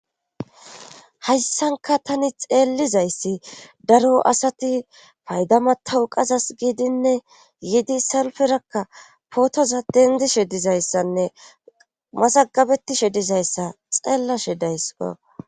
Hayssanka tani xeellizayssi daro asati payda matawu qazas giidinne yidi salferakka pootoza dendishe dizayssanne masagabetishe dizayssa xeellashe daysa.